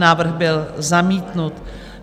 Návrh byl zamítnut.